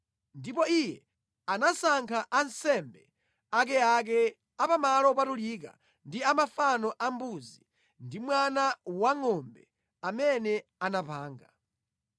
Ndipo iye anasankha ansembe akeake a pa malo opatulika ndi a mafano a mbuzi ndi mwana wangʼombe amene anapanga.